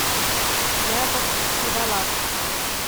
яков сиволап